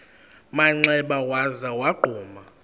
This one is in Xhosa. manxeba waza wagquma